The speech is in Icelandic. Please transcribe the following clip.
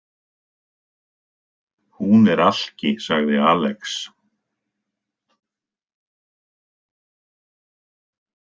Hún er alki, sagði Alex.